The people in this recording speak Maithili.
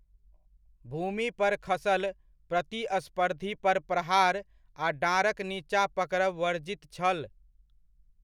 भूमि पर खसल प्रतिस्पर्धी पर प्रहार आ डाँढक नीचाँ पकड़ब वर्जित छल।